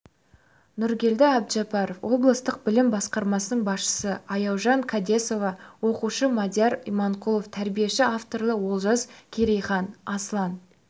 нұргелді әбжаппаров облыстық білім басқармасының басшысы аяужан қадесова оқушы мадияр иманқұлов тәрбиеші авторлары олжас керейхан аслан